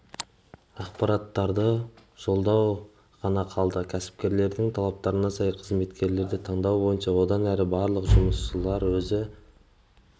ақпараттарды жолдау ғана қалады кәсіпкерлердің талаптарына сай қызметкерлерді таңдау бойынша одан әрі барлық жұмыстарды өзі